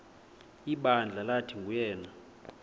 ibandla lathi nguyena